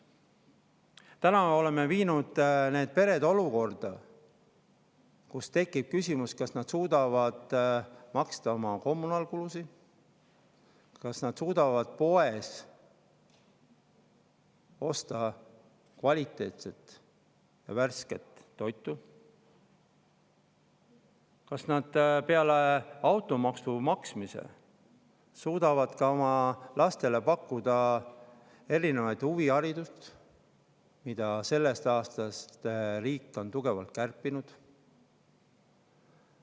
Nüüd oleme viinud need pered olukorda, kus tekib küsimus, kas nad suudavad maksta kommunaalkulusid, kas nad suudavad poest osta kvaliteetset ja värsket toitu, kas nad peale automaksu maksmist suudavad oma lastele pakkuda huviharidust, mille riik sellest aastast on tugevalt kärpinud.